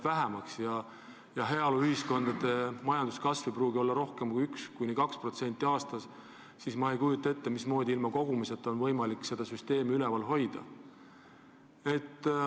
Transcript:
Heaoluühiskondade majanduskasv ei pruugi olla rohkem kui 1–2% aastas ja kui maksumaksjaid jääb vähemaks, siis ma ei kujuta ette, mismoodi ilma kogumiseta on võimalik seda süsteemi üleval hoida.